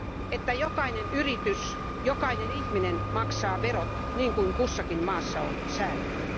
jotta jokainen yritys ja jokainen ihminen maksaa verot niin kuin kussakin maassa on säädetty.